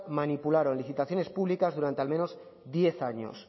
manipularon licitaciones públicas durante al menos diez años